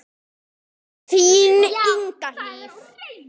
Þín Inga Hlíf.